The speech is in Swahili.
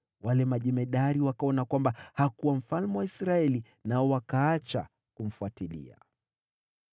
wale majemadari wakaona kwamba hakuwa mfalme wa Israeli, nao wakaacha kumfuatilia.